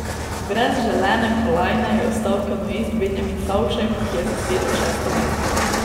Brez želene kolajne je ostal kanuist Benjamin Savšek, ki je zasedel šesto mesto.